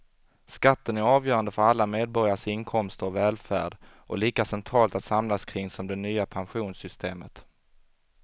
Skatten är avgörande för alla medborgares inkomster och välfärd och lika centralt att samlas kring som det nya pensionssystemet.